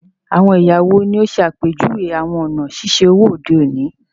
Awọn ẹya wo ni o ṣe apejuwe awọn ọna ṣiṣe owo ode oni?